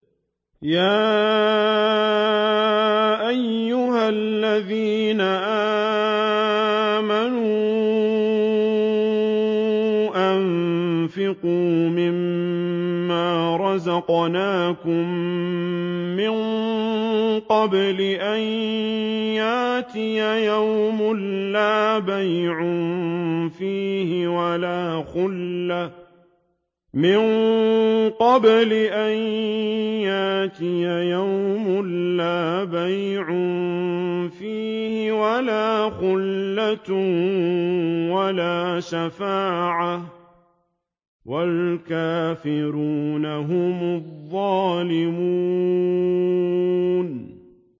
يَا أَيُّهَا الَّذِينَ آمَنُوا أَنفِقُوا مِمَّا رَزَقْنَاكُم مِّن قَبْلِ أَن يَأْتِيَ يَوْمٌ لَّا بَيْعٌ فِيهِ وَلَا خُلَّةٌ وَلَا شَفَاعَةٌ ۗ وَالْكَافِرُونَ هُمُ الظَّالِمُونَ